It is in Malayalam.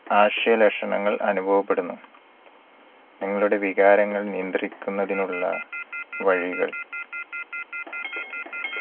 ആശയ ലക്ഷണങ്ങൾ അനുഭവപ്പെടുന്നു. നിങ്ങളുടെ വികാരങ്ങൾ നിയന്ത്രിക്കുന്നതിനുള്ള വഴികൾ